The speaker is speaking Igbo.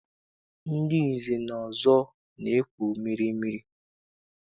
Ndị nze na ọzọ na-ekpu mmeemmee.